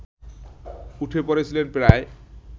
উঠে পড়েছিলেন প্রায়